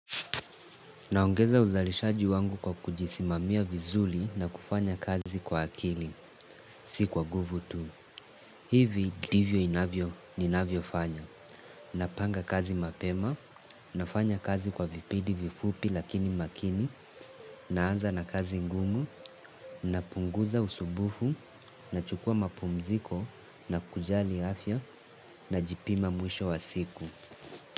Naongeza uzalishaji wangu kwa kujisimamia vizuri na kufanya kazi kwa akili. Si kwa guvu tu. Hivi divyo inavyo, ninavyofanya. Napanga kazi mapema, nafanya kazi kwa vipidi vifupi lakini makini, naanza na kazi ngumu, napunguza usumbufu, nachukuwa mapumziko, na kujali afya, najipima mwisho wa siku.